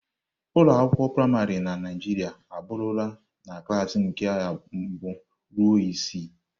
Ụlọ akwụkwọ praịmarị na Naịjirịa aburula na klas nke mbụ ruo isii.